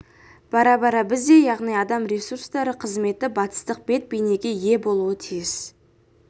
бара-бара бізде де яғни адам ресурстары қызметі батыстық бет-бейнеге ие болуға тиіс